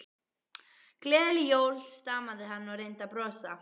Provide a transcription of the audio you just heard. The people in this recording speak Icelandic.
Gleðileg jól stamaði hann og reyndi að brosa.